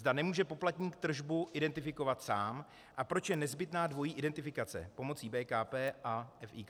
zda nemůže poplatník tržbu identifikovat sám a proč je nezbytná dvojí identifikace: pomocí BKP a FIK.